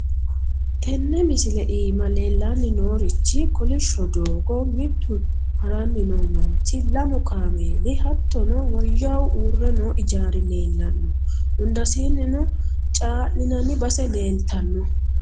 tenne misile iima leellanni noo'nerichi kolishsho doogo, mittu haranni noo manchi, lamu kaameeli, hattono woyyahu uurre noo ijaari leellanno. hundasiinnino caa'linanni base leeltanno.